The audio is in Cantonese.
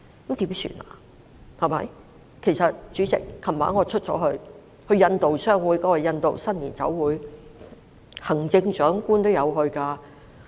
主席，我昨晚也有外出，出席香港印度商會的印度新年酒會，行政長官也有出席。